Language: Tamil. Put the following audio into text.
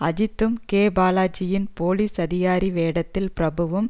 அஜித்தும் கே பாலாஜியின் போலீஸ் அதிகாரி வேடத்தில் பிரபுவும்